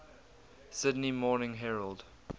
sydney morning herald